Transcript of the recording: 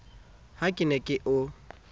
ha ke ne ke o